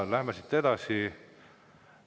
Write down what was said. Läheme siit edasi.